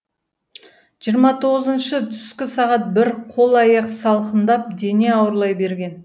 жиырма тоғызыншы түскі сағат бір қол аяқ салқындап дене ауырлай берген